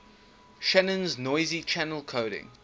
shannon's noisy channel coding